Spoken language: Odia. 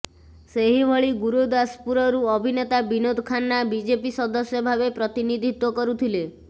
ସେହିଭଳି ଗୁରୁଦାସପୁରରୁ ଅଭିନେତା ବିନୋଦ ଖାନ୍ନା ବିଜେପି ସଦସ୍ୟ ଭାବେ ପ୍ରତିନିଧିତ୍ବ କରୁଥିଲେ